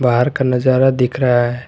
बाहर का नजारा दिख रहा है।